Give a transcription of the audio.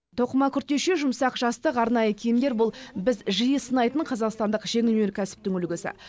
тоқыма күртеше жұмсақ жастық арнайы киімдер бұл біз жиі сынайтын қазақстандық жеңіл өнеркәсіптің үлгісі